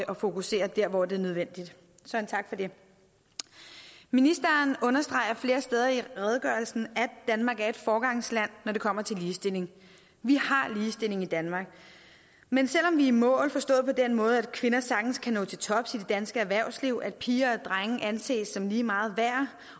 fokusere der hvor det er nødvendigt så en tak for det ministeren understreger flere steder i redegørelsen at danmark er et foregangsland når det kommer til ligestilling vi har ligestilling i danmark men selv om vi er i mål forstået på den måde at kvinder sagtens kan nå til tops i det danske erhvervsliv at piger og drenge anses som lige meget værd